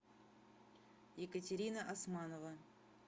екатерина османова